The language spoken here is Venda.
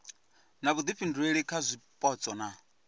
na vhuifhinduleli kha zwipotso na